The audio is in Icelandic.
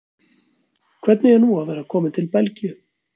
Hvernig er nú að vera kominn til Belgíu?